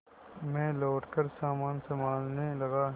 मैं लौटकर सामान सँभालने लगा